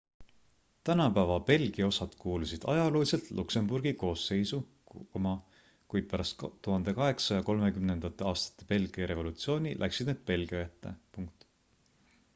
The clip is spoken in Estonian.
tänapäeva belgia osad kuulusid ajalooliselt luksemburgi koosseisu kuid pärast 1830ndate aastate belgia revolutsiooni läksid need belgia kätte